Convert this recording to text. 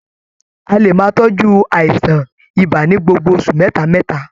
A lè máa tọjú àìsàn ibà ní gbogbo oṣù mẹta mẹta.